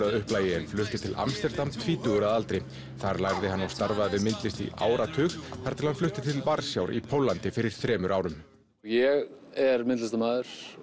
að upplagi en flutti til Amsterdam tvítugur að aldri þar lærði hann og starfaði við myndlist í áratug þar til hann flutti til Varsjár í Póllandi fyrir þremur árum ég er myndlistamaður